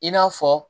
I n'a fɔ